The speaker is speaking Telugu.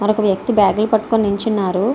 మరొక వ్యక్తి బ్యాగు లు పట్టుకొని నించున్నారు.